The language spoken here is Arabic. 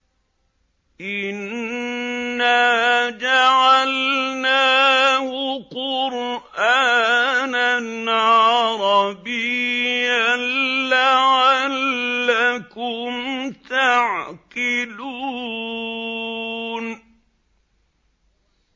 إِنَّا جَعَلْنَاهُ قُرْآنًا عَرَبِيًّا لَّعَلَّكُمْ تَعْقِلُونَ